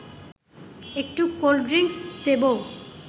একটু cold drinks দেব